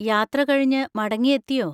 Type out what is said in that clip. യാത്ര കഴിഞ്ഞു മടങ്ങി എത്തിയോ?